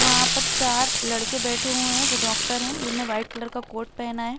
वहाँ पर चार लड़के बैठे हुए हैं जो डॉक्टर है। जिनने व्हाइट कलर का कोट पहना है।